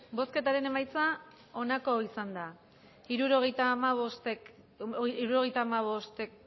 bozketaren emaitza onako izan da hirurogeita hamabost eman dugu bozka